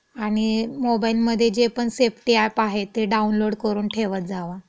आणि मोबाइलमधे जे पण सेफ्टी अॅप आहे ते डाउनलोड करून ठेवत जावा.